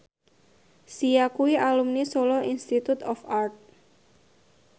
Sia kuwi alumni Solo Institute of Art